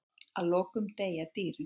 Að lokum deyja dýrin.